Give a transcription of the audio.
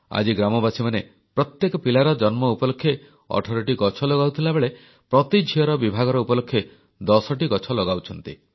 ଆଜି ଗ୍ରାମବାସୀମାନେ ପ୍ରତ୍ୟେକ ପିଲାର ଜନ୍ମ ଉପଲକ୍ଷେ 18ଟି ଗଛ ଲଗାଉଥିବା ବେଳେ ପ୍ରତି ଝିଅର ବିଭାଘର ଉପଲକ୍ଷେ 10ଟି ଗଛ ଲଗାଉଛନ୍ତି